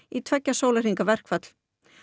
í tveggja sólarhringa verkfall